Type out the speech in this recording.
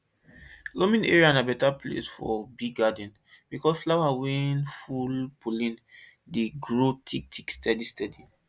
loamy area na better place for bee garden because flower wey full pollen dey grow thick thick steady steady